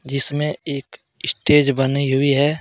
जिसमें एक स्टेज बनाई हुई है।